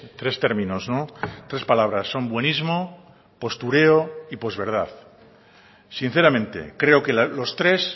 tres términos tres palabras son buenismo postureo y posverdad sinceramente creo que los tres